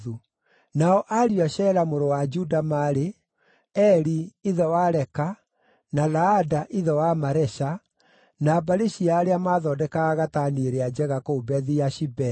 Nao ariũ a Shela mũrũ wa Juda maarĩ: Eri ithe wa Leka, na Laada ithe wa Maresha, na mbarĩ cia arĩa maathondekaga gatani ĩrĩa njega kũu Bethi-Ashibea,